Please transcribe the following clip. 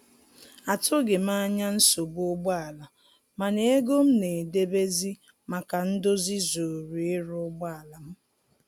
Atụghị m anya nsogbu ụgbọ ala, mana ego m na-edebezi maka ndozi zuru ịrụ ụgbọ ala m